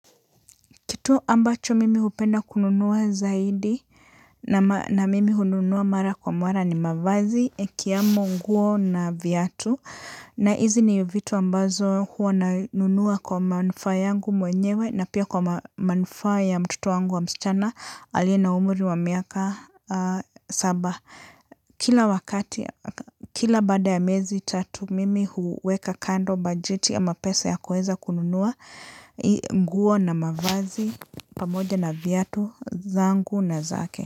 Kitu ambacho mimi hupenda kununua zaidi na mimi hununua mara kwa mwara ni mavazi, yakiwamo, nguo na viatu. Na hizi ni vitu ambazo huwa nanunua kwa manufaa yangu mwenyewe na pia kwa manufaa ya mtoto wangu wa msichana aliye na umri wa miaka saba. Kila wakati, kila baada ya miezi tatu mimi huweka kando bajeti ya mapesa ya kueza kununua nguo na mavazi. Pamoja na viatu zangu na zake.